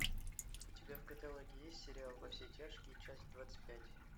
у тебя в каталоге есть сериал во все тяжкие часть двадцать пять